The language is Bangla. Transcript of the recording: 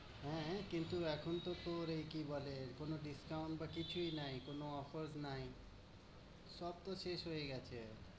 হ্যাঁ হ্যাঁ কিন্তু এখন তো তোর এ কি বলে কোনো discount বা কিছুই নাই, কোনো offers নাই। সব তো শেষ হয়ে গেছে।